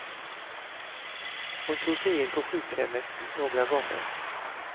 Hon tog sig in på sjukhemmet några gånger.